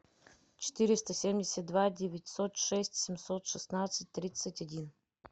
четыреста семьдесят два девятьсот шесть семьсот шестнадцать тридцать один